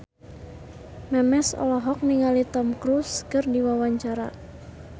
Memes olohok ningali Tom Cruise keur diwawancara